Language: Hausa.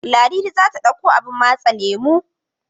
Ladidi za ta ɗauko abun matse lemo.